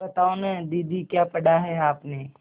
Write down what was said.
बताओ न दीदी क्या पढ़ा है आपने